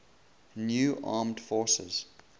new armed forces